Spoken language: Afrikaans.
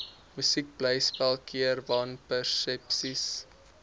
musiekblyspel keer wanpersepsies